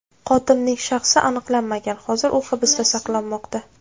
Qotilning shaxsi aniqlanmagan, hozir u hibsda saqlanmoqda.